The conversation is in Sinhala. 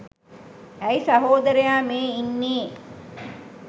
ඇයි සහෝදරයා මේ ඉන්නේ